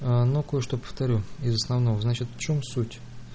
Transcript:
ну кое-что повторю и основного значит в чём суть